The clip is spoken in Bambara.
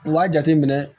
U b'a jate minɛ